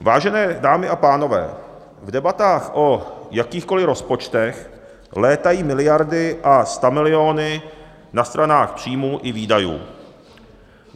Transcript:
Vážené dámy a pánové, v debatách o jakýchkoliv rozpočtech létají miliardy a stamiliony na stranách příjmů i výdajů.